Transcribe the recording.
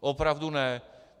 Opravdu ne.